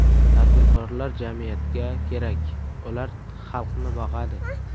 Tadbirkorlar jamiyatga kerak, ular xalqni boqadi.